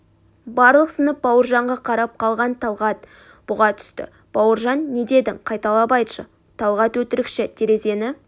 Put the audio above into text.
барлық сынып бауыржанға қарап қалған талғат бұға түсті бауыржан не дедің қайталап айтшы талғат өтірікші терезені